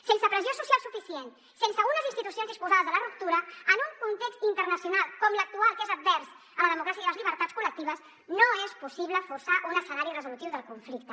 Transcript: sense pressió social suficient sense unes institucions disposades a la ruptura en un context internacional com l’actual que és advers a la democràcia i les llibertats col·lectives no és possible forçar un escenari resolutiu del conflicte